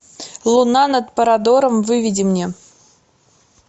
луна над парадором выведи мне